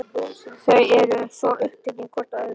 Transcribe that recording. Þau eru svo upptekin hvort af öðru.